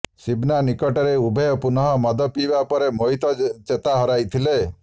ସିବନା ନିକଟରେ ଉଭୟ ପୁନଃ ମଦ ପିଇବା ପରେ ମୋହିତ ଚେତା ହରାଇଥିଲେ